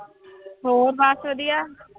ਹੋਰ ਬਸ ਵਧੀਆ।